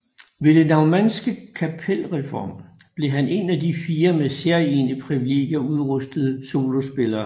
Ved den naumannske kapelreform blev han en af de fire med særegne privilegier udrustede solospillere